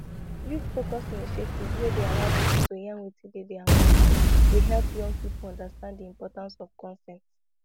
youthfocused initiatives wey dey allow people to yarn wetin dey dey their mind dey help young people understand di importance of consent